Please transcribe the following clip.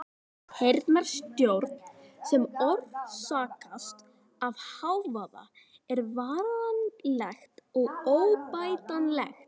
Heyrnartjón sem orsakast af hávaða er varanlegt og óbætanlegt.